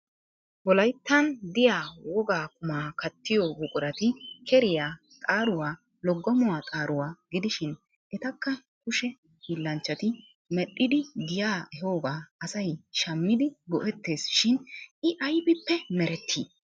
Wolayittan diya wogaa qumaa kattiyo buqurati keriya, xaaruwa, loggomuwa xaaruwa gidishin etakka kushe hiillanchchati medhdhidi giya ehoogaa asay shammidi go'ettes shin I ayibippe meretti?